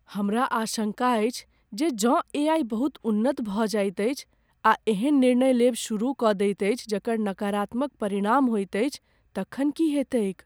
हमरा आशंका अछि जे जँ एआई बहुत उन्नत भऽ जाइत अछि आ एहन निर्णय लेब शुरू कऽ दैत अछि जकर नकारात्मक परिणाम होयत अछि तखन की हेतैक ।